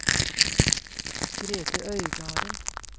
Grethe Øygarden